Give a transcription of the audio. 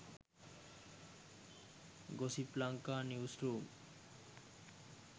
gossip lanka news room